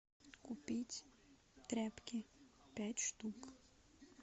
купить тряпки пять штук